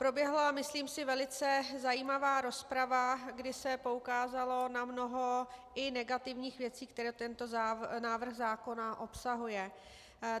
Proběhla, myslím si, velmi zajímavá rozprava, kdy se poukázalo na mnoho i negativních věcí, které tento návrh zákona obsahuje.